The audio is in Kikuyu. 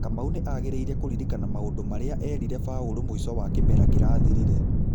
Kamau nĩ angĩrĩire kũririkana maũndũ marĩa erire Baurũ mwĩco wa kĩmera kĩrathirire.